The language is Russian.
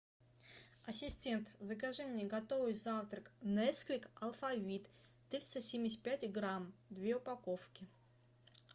ассистент закажи мне готовый завтрак несквик алфавит триста семьдесят пять грамм две упаковки